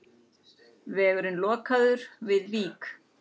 Vegurinn lokaður við Vík